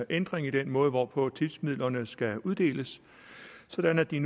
ændring i den måde hvorpå tipsmidlerne skal uddeles sådan at de